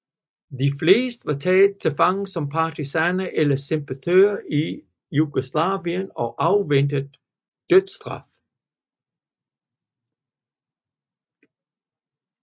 De fleste var taget til fange som partisaner eller sympatisører i Jugoslavien og afventede dødsstraf